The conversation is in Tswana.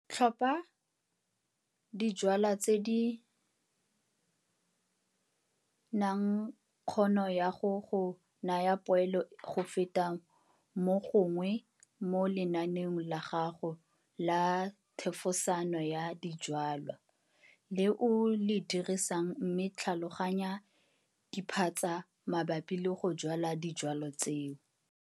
Tlhopha dijwalwa tse di nang kgono ya go go naya poelo go feta mo gongwe mo lenaneong la gago la thefosano ya dijwalwa le o le dirisang mme tlhaolganya diphatsa mabapi le go jwala dijwalwa tseo.